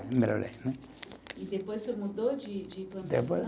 E depois o senhor mudou de de planta